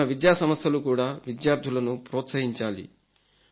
మన విద్యా సంస్థలు కూడా విద్యార్థులను ప్రోత్సహించాలి